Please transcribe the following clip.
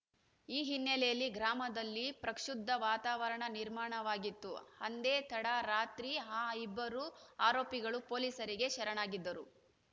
ಈ ಹಿನ್ನೆಲೆಯಲ್ಲಿ ಗ್ರಾಮದಲ್ಲಿ ಪ್ರಕ್ಷುದ್ಧ ವಾತಾವರಣ ನಿರ್ಮಾಣವಾಗಿತ್ತು ಅಂದೇ ತಡ ರಾತ್ರಿ ಆ ಇಬ್ಬರು ಆರೋಪಿಗಳು ಪೊಲೀಸರಿಗೆ ಶರಣಾಗಿದ್ದರು